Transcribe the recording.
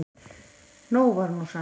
Nóg var nú samt.